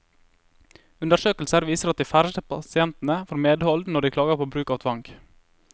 Undersøkelser viser at de færreste pasientene får medhold når de klager på bruk av tvang.